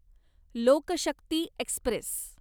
लोक शक्ती एक्स्प्रेस